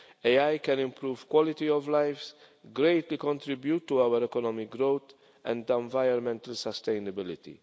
AI can improve quality of lives, greatly contribute to our economic growth and our environmental sustainability.